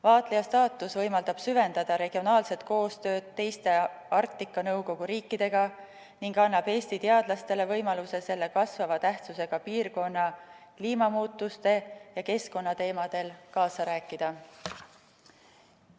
Vaatlejastaatus võimaldab süvendada regionaalset koostööd teiste Arktika Nõukogu riikidega ning annab Eesti teadlastele võimaluse selles kasvava tähtsusega piirkonnas kliimamuutuste ja keskkonna teemadel kaasa rääkida.